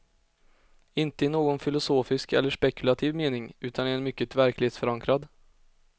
Inte i någon filosofisk eller spekulativ mening, utan i en mycket verklighetsförankrad.